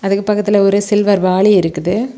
அதுக்கு பக்கத்துல ஒரு சில்வர் வாலி இருக்குது.